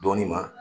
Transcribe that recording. Dɔɔnin ma